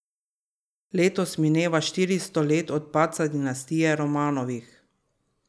Letos mineva štiristo let od padca dinastije Romanovih.